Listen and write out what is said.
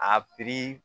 A piri